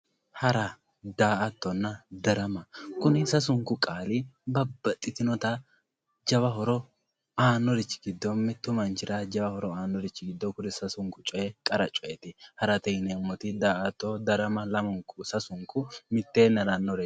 Hara, daa'attonna, daramma kuni sasunku qaalli babaxitinotta jawa horo aanorichi gido mitu manchira jawa horo aanorichi gido kuni sasunku coyi qara cooyyetti harate yineemotti daa'atto darama kuri lamunku sasunku mitteenni haranoreetti